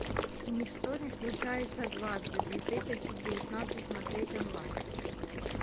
ничто не случается дважды две тысячи девятнадцать смотреть онлайн